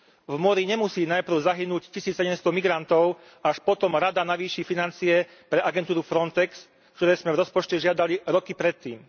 V mori nemusí najprv zahynúť 1700 migrantov, až potom Rada navýši financie pre agentúru Frontex, ktoré sme v rozpočte žiadali roky predtým.